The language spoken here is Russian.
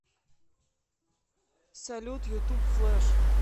салют ютуб флэш